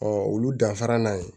Ɔ olu danfara n'a ye